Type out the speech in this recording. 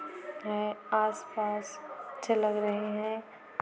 आस पास अच्छे लग रहे है।